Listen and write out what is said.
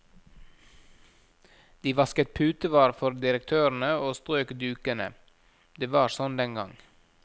De vasket putevar for direktørene og strøk dukene, det var sånn den gang.